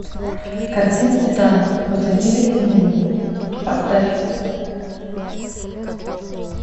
картина титан после гибели земли поставь